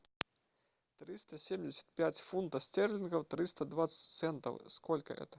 триста семьдесят пять фунтов стерлингов триста двадцать центов сколько это